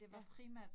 Ja